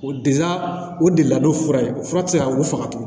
O de la o de la n'o fura ye fura tɛ se ka wugufaga tuguni